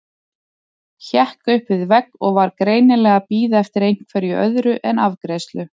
Hékk upp við vegg og var greinilega að bíða eftir einhverju öðru en afgreiðslu.